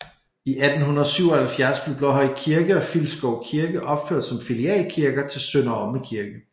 I 1877 blev Blåhøj Kirke og Filskov Kirke opført som filialkirker til Sønder Omme Kirke